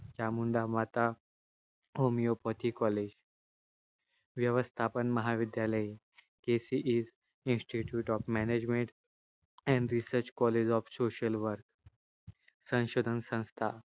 Chamunda Mata homeopathy college व्यवस्थापन महाविद्यालय KC institute of management and research college of social work संशोधन संस्था